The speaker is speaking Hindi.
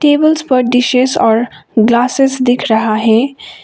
टेबल्स पर डिशेश और ग्लासेस दिख रहा है।